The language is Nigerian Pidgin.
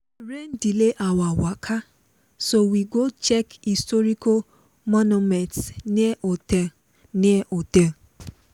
rain delay our waka so we go check historic monument near hotel. near hotel.